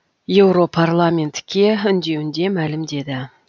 еуропарламентке үндеуінде мәлімдеді